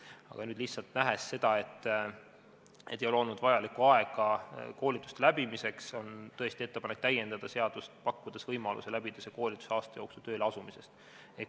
Aga lihtsalt nähes seda, et ei ole olnud vajalikku aega koolituste läbimiseks, on tõesti ettepanek täiendada seadust ja pakkuda võimalus läbida see koolitus aasta jooksul tööle asumisest.